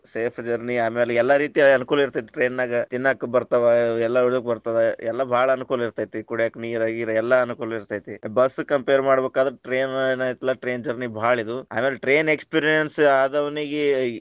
Safe journey ಆಮ್ಯಾಲ ಎಲ್ಲಾ ರೀತಿ ಅನುಕೂಲ ಇರತೈತಿ train ನಾಗ, ತಿನ್ನಾಕ ಬರ್ತಾವ ಎಲ್ಲಾ ಬರ್ತದ ಎಲ್ಲಾ ಬಾಳ ಅನುಕೂಲ ಇರತೈತಿ ಕುಡ್ಯಾಕ ನೀರ ಗೀರ ಎಲ್ಲಾ ಅನುಕೂಲ ಇರತೈತಿ , bus compare ಮಾಡಬೇಕಾದ್ರ train ಏನ ಐತಲ್ಲಾ train journey ಬಾಳ ಇದು, ಆಮೇಲೆ train experience ಆದವನಿಗೆ.